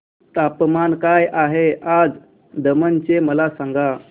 तापमान काय आहे आज दमण चे मला सांगा